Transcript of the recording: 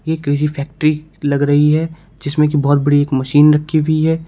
ये किसी फैक्ट्री लग रही है जिसमें की बहोत बड़ी एक मशीन रखी हुई है।